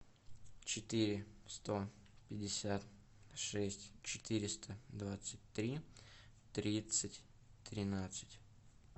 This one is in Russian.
четыре сто пятьдесят шесть четыреста двадцать три тридцать тринадцать